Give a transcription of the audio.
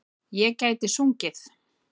Ég gæti sungið.